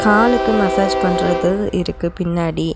காலுக்கு மசாஜ் பண்றது இருக்கு பின்னாடி.